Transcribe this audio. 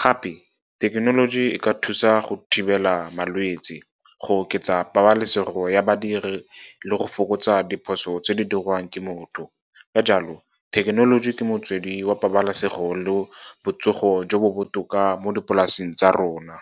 Gape, thekenoloji e ka thusa go thibela malwetsi, go oketsa pabalesego ya badiri le go fokotsa diphoso tse di dirwang ke motho. Ka jalo, thekenoloji ke motswedi wa pabalesego le botsogo jo bo botoka mo dipolaseng tsa rona.